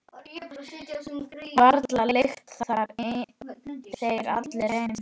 Varla lykta þeir allir eins.